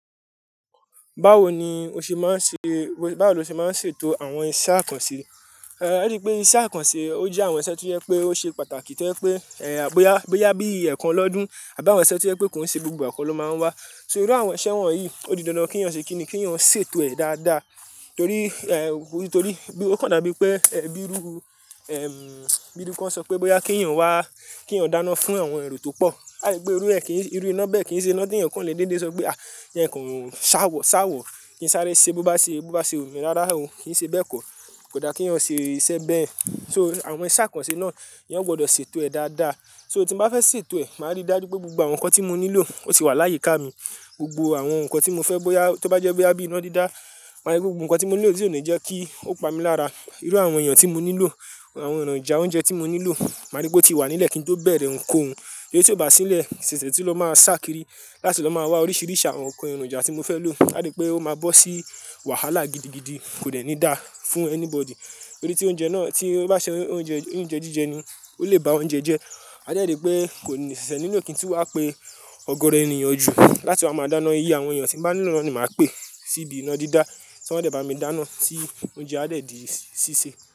Báwo ni o ṣe máa ń ṣe, báwo lo ṣe máa ń ṣètò àwọn iṣẹ́ àkànṣe? Ẹ́rí wipé iṣẹ́ àkànṣe ó jẹ́ àwọn iṣẹ́ tó yẹ pé ó ṣe pàtàkì to je pé, ẹ́, bóyá, bóyá bí ẹ̀kan lọ́dún àbí àwọn iṣẹ́ tó yẹ pé ki ṣe gbogbo kọ́ ló máa ń wá. So irú àwọn iṣẹ́ wọ̀nyí, ó di dandan kínyàn ṣe kíni, kínyàn ṣètò ẹ̀ dáadáa. Torí, ẹ́, torí, ó kàn dabi pé, ẹ́, bíru, ẹm, bíru kan ṣọ pé bóyá kín eyàn wá, kín eyàn dáná fún àwọn ẹro tó pọ̀. A ri pé irú ẹ kìí, irú iná bẹ́ẹ̀ kìn ṣe iná tí ènìyàn kò lè déédé sọ pé, "à, jẹ n kò ṣáwọ̀, ṣáwọ̀, kìn sáré ṣe bó bá ṣe, bó bá ṣe wu mi. Rara o kìi ṣe bẹ́ẹ̀ kọ́. Kò dá kín eyàn ṣe iṣẹ́ bẹ́ẹ̀. So àwọn iṣẹ́ àkànṣe náà eyan gbọdọ̀ ṣètò ẹ̀ dáadáa. So tí mo bá fẹ́ ṣètò ẹ̀, màá rí dájú pé gbogbo àwọn nǹkan tí mo nílò ó tì wà láyiká mi. Gbogbo àwọn nǹkan tí mo fẹ́ bóyá, tó bá jẹ́ bóyá bí iná dídá, màá rí pé gbogbo nǹkan tí mo nílò tì ò ní jẹ́ kí ó pa mi lára. Irú àwọn èèyàn tí mo nílò, àwọn èròjà oúnjẹ tí mo nílò, màá rí pé ó ti wà nílẹ̀ kín tó bẹ̀rẹ̀ nǹkan òun. Tori ti ó bá sí n lẹ̀, ṣẹ̀ṣẹ̀ tun ló máa ṣàkíri, láti ló máa wá oríṣìíríṣi àwọn ǹkan èròjà tí mo fẹ́ lò. A ri pé ó máa bọ́ sí wàhálà gidigidi, kò dẹ́ni dá fún anybody. Torí tí oúnjẹ náà tí ó bá ṣe oúnjẹ, oúnjẹ jíjẹ ni, ó lè ba oúnjẹ jẹ́. A dè rí pé kò ní, ṣẹ̀ṣẹ̀ nílo kìn tun wá pé ọ̀gọ̀ọ̀rọ̀ ènìyàn ju, láti máa máa dáná iye àwọn èyàn tin bá nílò náà ni màá pè sí ibi iná dídá, tí wọ́n dẹ̀ bá mi dáná tí oúnjẹ á dẹ̀ di sísè.